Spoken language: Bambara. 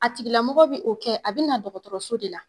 A tigilamɔgɔ bi o kɛ, a be na dɔgɔtɔrɔso de la.